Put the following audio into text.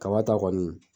Kaba ta kɔni